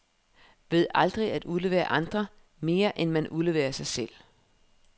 Ved aldrig at udlevere andre, mere end man udleverer sig selv.